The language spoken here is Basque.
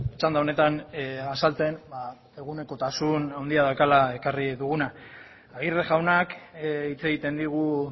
txanda honetan azaltzen egunekotasun handia daukala ekarri duguna aguirre jaunak hitz egiten digu